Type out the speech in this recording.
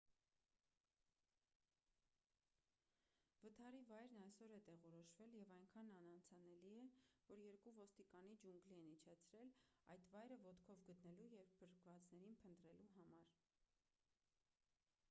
վթարի վայրն այսօր է տեղորոշվել և այնքան անանցանելի է որ երկու ոստիկանի ջունգլի են իջեցրել այդ վայրը ոտքով գտնելու և փրկվածներին փնտրելու համար